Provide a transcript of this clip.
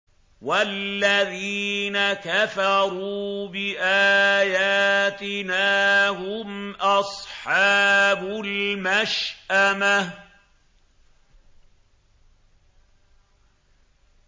وَالَّذِينَ كَفَرُوا بِآيَاتِنَا هُمْ أَصْحَابُ الْمَشْأَمَةِ